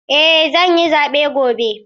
Eh zan yi zaɓe gobe.